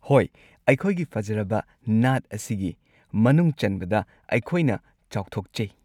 ꯍꯣꯏ, ꯑꯩꯈꯣꯏꯒꯤ ꯐꯖꯔꯕ ꯅꯥꯠ ꯑꯁꯤꯒꯤ ꯃꯅꯨꯡ ꯆꯟꯕꯗ ꯑꯩꯈꯣꯏꯅ ꯆꯥꯎꯊꯣꯛꯆꯩ꯫